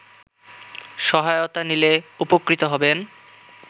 সহায়তা নিলে উপকৃত হবেন